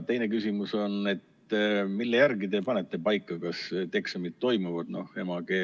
Teine küsimus on: mille järgi te panete paika, kas need eksamid toimuvad?